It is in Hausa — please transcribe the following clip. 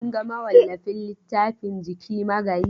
Kun ga mawallafin littafin Jiki Magayi?